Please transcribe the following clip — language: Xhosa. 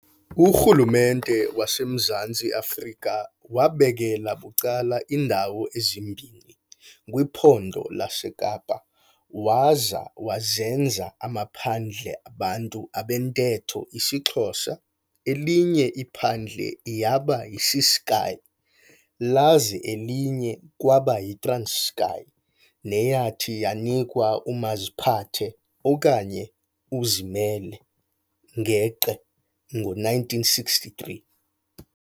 URhulumente wasemZantsi afrika wabekela bucala iindawo ezimbini kwiPhondo laseKapa waza wazenza amaphandle abantu abentetho isiXhosa, elinye iphandle yaba yiCeskei, laza elinye kwaba yiTranskei neyathi yanikwa umaziphathe okanye uzimele-geqe ngo-1963.